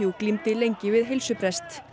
glímdi lengi við heilsubrest